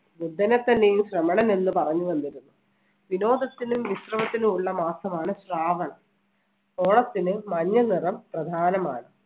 ബുദ്ധനെ തന്നെയും ശ്രമണനെന്ന് പറഞ്ഞ് വിനോദത്തിനും വിശ്രമത്തിനും ഉള്ള മാസമാണ് ശ്രാവണം. ഓണത്തിന് മഞ്ഞ നിറം പ്രധാനമാണ്.